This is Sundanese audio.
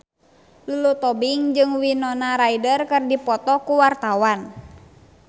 Lulu Tobing jeung Winona Ryder keur dipoto ku wartawan